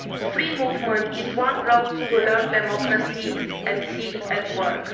Free movement is one road to learning democracy and seeing it at work.